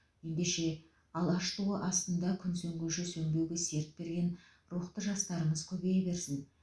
ендеше алаш туы астында күн сөнгенше сөнбеуге серт берген рухты жастарымыз көбейе берсін